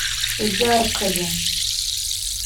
яркове